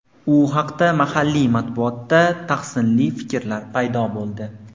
U haqda mahalliy matbuotda tahsinli fikrlar paydo bo‘ldi.